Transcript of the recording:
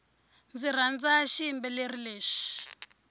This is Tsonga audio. ndzi rhandza xiyimbeleri lexi